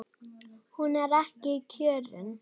Hún er ekki kjörin.